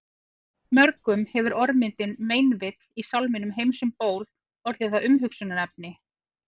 Mörgum hefur orðmyndin meinvill í sálminum Heims um ból orðið að umhugsunarefni.